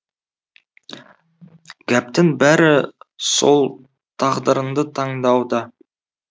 гәптің бәрі сол тағдырыңды таңдауда